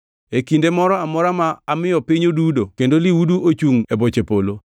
E kinde moro amora ma amiyo piny odudo kendo lihudu ochungʼ e boche polo,